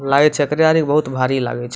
Light छै तैयारी बहुत भारी लागय छै।